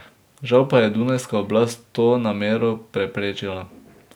Žal pa je dunajska oblast to namero preprečila.